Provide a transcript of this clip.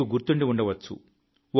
మీకు గుర్తుండవచ్చు